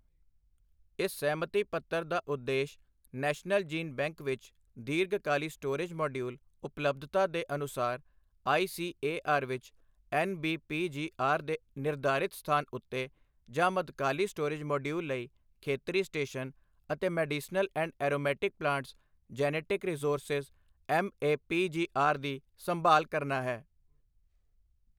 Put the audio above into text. ਇਸ ਸਹਿਮਤੀ ਪੱਤਰ ਦਾ ਉਦੇਸ਼ ਨੈਸ਼ਨਲ ਜੀਨ ਬੈਂਕ ਵਿੱਚ ਦੀਰਘ-ਕਾਲੀ ਸਟੋਰੇਜ ਮੌਡਿਊਲ ਉਪਲਬੱਧਤਾ ਦੇ ਅਨੁਸਾਰ ਆਈ ਸੀ ਏ ਆਰ ਵਿਚ N B P G R ਦੇ ਨਿਰਧਾਰਿਤ ਸਥਾਨ ਉੱਤੇ ਜਾਂ ਮੱਧਕਾਲੀ ਸਟੋਰੇਜ ਮੌਡਿਊਲ ਲਈ ਖੇਤਰੀ ਸਟੇਸ਼ਨ ਅਤੇ medicinal and aromatic plants genetic resources M A P G R ਦੀ ਸੰਭਾਲ਼ ਕਰਨਾ ਹੈ।